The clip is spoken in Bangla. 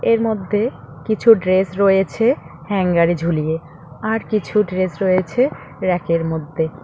এর মধ্যে কিছু ড্রেস রয়েছে হ্যাঙ্গার -এ ঝুলিয়ে আর কিছু ড্রেস রয়েছে র‍্যাক -এর মধ্যে।